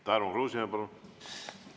Tarmo Kruusimäe, palun!